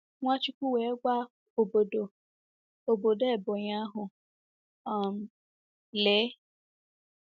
Nwachukwu wee gwa obodo obodo Ebonyi ahu um: “ Lee!